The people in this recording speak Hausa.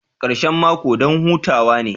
Karshen mako don hutawa ne